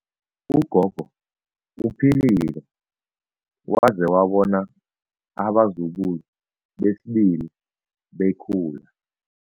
Ugogo uphilile waze wabona abazukulu besibili bekhula.